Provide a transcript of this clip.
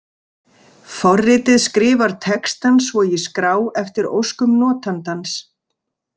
Forritið skrifar textann svo í skrá eftir óskum notandans.